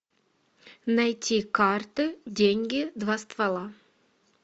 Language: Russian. найти карты деньги два ствола